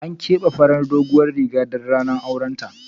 An kebe farin doguwan Riga don ranar auren ta.